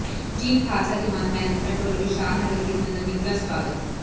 chief Khalsa Diwan management ਵੱਲੋਂ ਵਿਸ਼ਾਲ ਨਗਰ ਕੀਰਤਨ ਦਾ ਨਿੱਘਾ ਸੁਆਗਤ